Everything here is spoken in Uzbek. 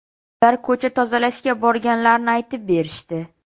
Ular ko‘cha tozalashga borganlarini aytib berishdi.